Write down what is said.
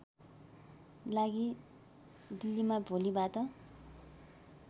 लागि दिल्लीमा भोलिबाट